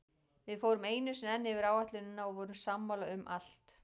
Við fórum einu sinni enn yfir áætlunina og vorum sammála um allt.